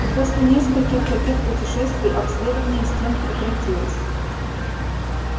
и после нескольких таких путешествий обследование стен прекратилось